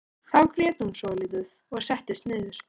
Þá grét hún svolítið og settist niður.